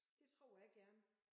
Det tror jeg gerne